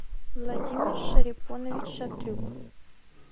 владимир шарипонович шатрюк